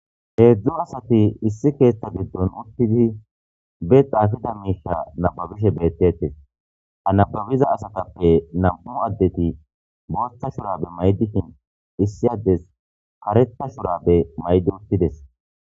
Hezdu asati issi ketha gidon utidi be xafiza misha nababishe betetes ha nababiza asatape nam'u adeti bota shurabe mayidi issi adey karetha shurabe mayidi utides.